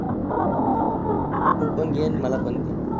तु पण घे आन मला पण दे.